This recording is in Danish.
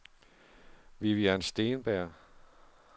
Vivian Steenberg